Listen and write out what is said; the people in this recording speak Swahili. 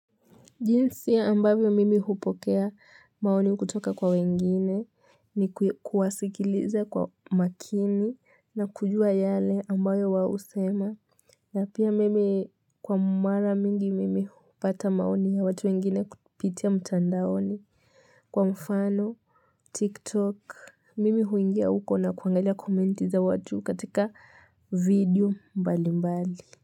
Jinsi ya ambavyo mimi hupokea maoni kutoka kwa wengine ni kuwasikiliza kwa makini na kujua yale ambayo waohusema. Na pia mimi kwa mara mingi mimi hupata maoni ya watu wengine kupitia mtandaoni. Kwa mfano, tiktok, mimi huingia huko na kuangalia komenti za watu katika video mbali mbali.